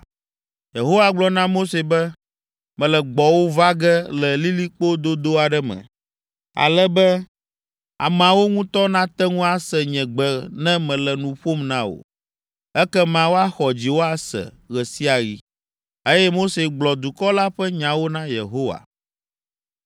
Yehowa gblɔ na Mose be, “Mele gbɔwò va ge le lilikpo dodo aɖe me, ale be ameawo ŋutɔ nate ŋu ase nye gbe ne mele nu ƒom na wò, ekema woaxɔ dziwò ase ɣe sia ɣi.” Eye Mose gblɔ dukɔ la ƒe nyawo na Yehowa.